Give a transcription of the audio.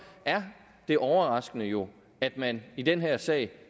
er det overraskende jo at man i den her sag